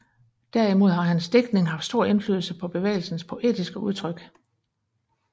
Derimod har hans digtning haft stor indflydelse på bevægelsens poetiske udtryk